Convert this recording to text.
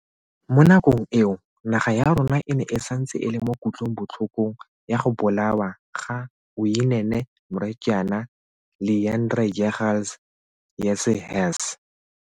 Mo nakong eo, naga ya rona e ne e santse e le mo kutlobotlhokong ya go bolawa ga Uyinene Mrwetyana, Leighandre Jegels, Jesse Hess.